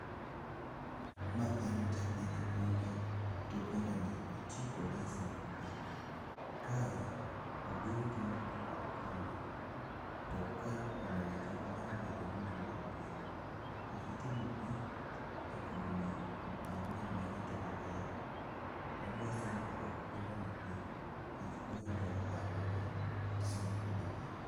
Ma en japith punda, to pundani itiyo kode e sombo pi. Kae obiro tuomo pi kod punda. To kae pundani chal ka gima be dwa nomodh pi. Osetuomo pi e kubni ang'wen mane toke kacha ka. To odwa sombo kod pundani pi, nikech oyudo ohala bang' sombo kode pi.